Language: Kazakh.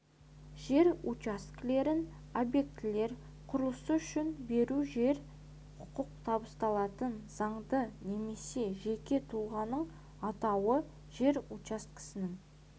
жер учаскелерін объектілер құрылысы үшін беру жерге құқық табысталатын заңды немесе жеке тұлғаның атауы жер учаскесінің